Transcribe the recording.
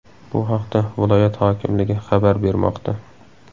Bu haqda viloyat hokimligi xabar bermoqda .